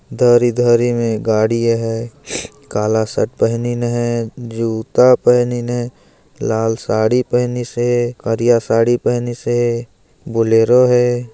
धरी धरी में गाड़ियाँ हे काला शर्ट पहनीन हे जूता पहनीन हे लाल साड़ी पहनीसे करिया साड़ी पहनीसे बुलेरो हे।